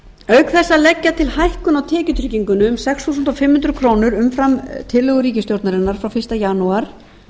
þess að leggja til hækkun á tekjutryggingunni um sex þúsund fimm hundruð króna umfram tillögu ríkisstjórnarinnar frá fyrsta janúar